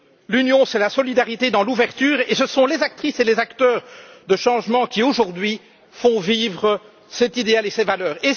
L'Union, c'est la solidarité dans l'ouverture et ce sont les actrices et les acteurs de changements qui, aujourd'hui, font vivre cet idéal et ces valeurs.